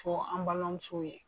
fɔ an balima musow ye.